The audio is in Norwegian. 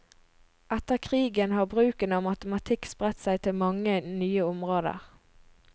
Etter krigen har bruken av matematikk spredt seg til mange nye områder.